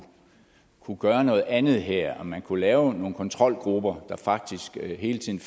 kunne gøre noget andet her om man kunne lave nogle kontrolgrupper der faktisk hele tiden